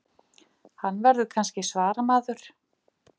Hann verður kannski svaramaður.